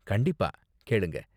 கண்டிப்பா, கேளுங்க.